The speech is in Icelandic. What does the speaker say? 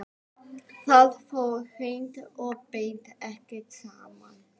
Það fór hreint og beint ekki saman.